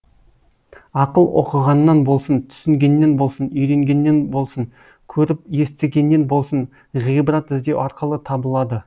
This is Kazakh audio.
ақыл оқығаннан болсын түсінгеннен болсын үйренгеннен блсын көріп естігеннен болсын ғибрат іздеу арқылы табылады